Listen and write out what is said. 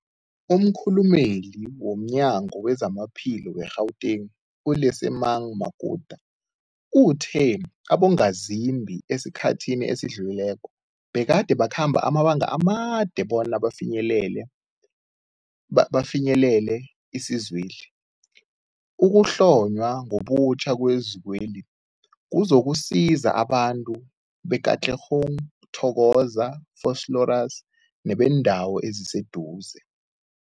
Umkhulumeli womNyango weZamaphilo we-Gauteng, u-Lesemang Matuka uthe abongazimbi esikhathini esidlulileko begade bakhamba amabanga amade bona bafinyelele isizweli. Ukuhlonywa ngobutjha kwezikweli kuzokusiza abantu be-Katlehong, Thokoza, Vosloorus nebeendawo eziseduze.